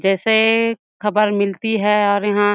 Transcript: जैसे खबर मिलती है और यहाँ--